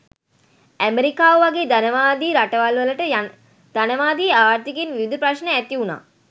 ඇමෙරිකාව වගේ ධනවාදී රටවල් වලට ධනවාදී ආර්ථිකයෙන් විවිධ ප්‍රශ්න ඇතිවුණා.